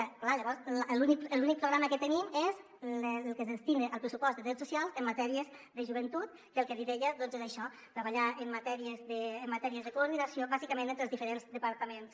clar llavors l’únic programa que tenim és el que es destina al pressupost de drets socials en matèria de joventut que el que li deia doncs és això treballar en matèries de coordinació bàsicament entre els diferents departaments